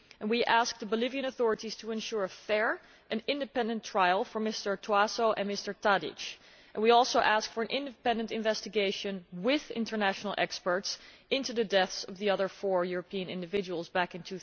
We asked the Bolivian authorities to ensure a fair and independent trial for Mr Tóásó and Mr Tadić, and we also asked for an independent investigation with international experts into the deaths of the other four Europeans back in